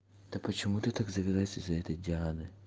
да почему ты так завелась из за этой дианы